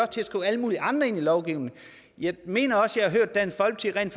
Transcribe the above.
til at skrive alle mulige andre ting ind i lovgivningen jeg mener også jeg har hørt dansk folkeparti